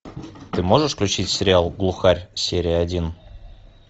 ты можешь включить сериал глухарь серия один